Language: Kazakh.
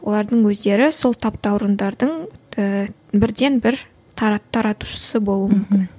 олардың өздері сол таптауырындардың ііі бірден бір таратушысы болуы мүмкін мхм